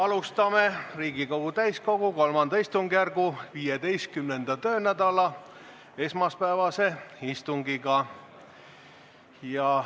Alustame Riigikogu täiskogu III istungjärgu 15. töönädala esmaspäevast istungit.